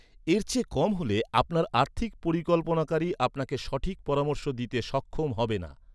এর চেয়ে কম হলে আপনার আর্থিক পরিকল্পনাকারী আপনাকে সঠিক পরামর্শ দিতে সক্ষম হবেন না।